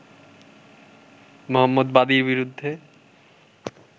মোহাম্মদ বাদির বিরুদ্ধে